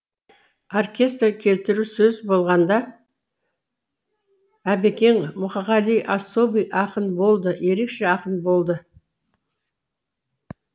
оркестр келтіру сөз болғанда әбекең мұқағали особый ақын болды ерекше ақын болды